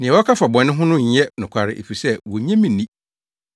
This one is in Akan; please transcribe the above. Nea wɔka fa bɔne ho no nyɛ nokware, efisɛ wonnye me nni.